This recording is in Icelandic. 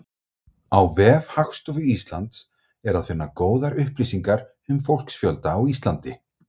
Á vef Hagstofu Íslands er að finna góðar upplýsingar um fólksfjölda á Íslandi.